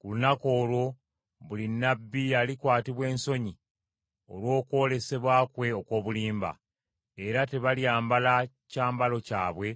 “Ku lunaku olwo buli nnabbi alikwatibwa ensonyi olw’okwolesebwa kwe okw’obulimba; era tebalyambala kyambalo kyabwe